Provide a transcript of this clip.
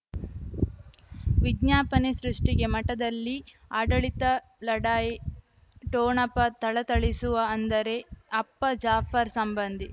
ವಿಜ್ಞಾಪನೆ ಸೃಷ್ಟಿಗೆ ಮಠದಲ್ಲಿ ಆಡಳಿತ ಲಢಾಯಿ ಠೊಣಪ ಥಳಥಳಿಸುವ ಅಂದರೆ ಅಪ್ಪ ಜಾಫರ್ ಸಂಬಂಧಿ